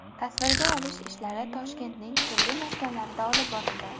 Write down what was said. Tasvirga olish ishlari Toshkentning turli maskanlarida olib borildi.